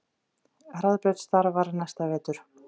Hraðbraut starfar næsta vetur